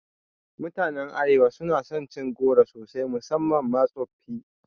Mutanen Arewa suna son cin goro sosai musamman ma tsoffi